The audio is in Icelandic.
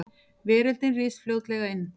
Veröldin ryðst fljótlega inn.